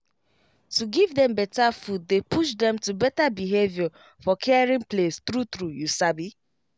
to give dem better food dey push dem to better behavior for caring place true true you sabi